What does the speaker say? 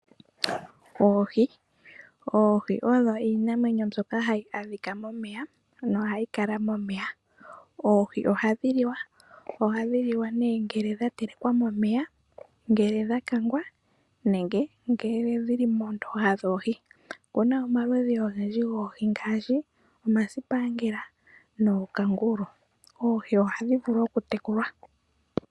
Oohi odo iinamwenyo mbyoka hayi adhika momeya nohayi kala momeya. Oohi ohadhi liwa. Ohadhi liwa nee ngele dha telekwa momeya, ngele dha kangwa nenge ngele dhili moondoha dhoohi. Okuna omaludhi ogendji goohi ngaashi omasipangela nookangulu. Oohi ohadhi vulu okutekulwa.